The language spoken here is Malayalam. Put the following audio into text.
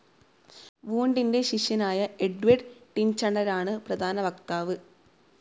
വൂൻഡിൻ്റെ ശിഷ്യനായ എഡ്വേർഡ് ടിൻചണരാണ് പ്രധാന വക്താവ്.